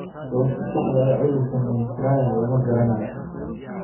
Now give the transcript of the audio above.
Sababta saxda ah ee cudurka Mentrier lama garanayo.